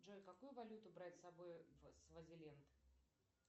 джой какую валюту брать с собой в свазиленд